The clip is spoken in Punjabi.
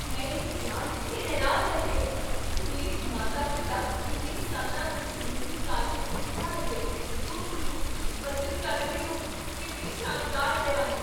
ਮੈਂ ਇਹ ਜਾਣ ਕੇ ਹੈਰਾਨ ਰਹਿ ਗਿਆ ਕੀ ਮੇਰੇ ਮਾਤਾ ਪਿਤਾ ਇੰਨੇ ਸਾਲਾਂ ਵਿੱਚ ਮੇਰੀ ਕਾਲਜ ਦੀ ਪੜ੍ਹਾਈ ਲਈ ਗੁਪਤ ਰੂਪ ਵਿੱਚ ਬੱਚਤ ਕਰ ਰਹੇ ਹਨ ਕਿੰਨੀ ਸ਼ਾਨਦਾਰ ਹੈਰਾਨੀ!